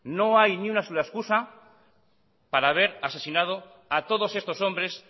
no hay ni una sola excusa para haber asesinado a todos estos hombres